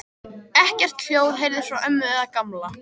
Ekkert hljóð heyrðist frá ömmu eða Gamla.